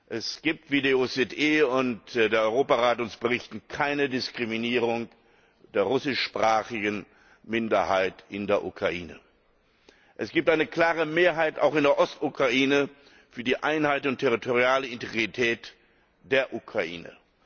Es gibt wie die OSZE und der Europarat uns berichten keine Diskriminierung der russischsprachigen Minderheit in der Ukraine. Es gibt eine klare Mehrheit, auch in der Ostukraine, für die Einheit und die territoriale Integrität der Ukraine.